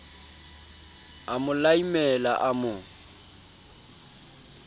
a mo laimela a mo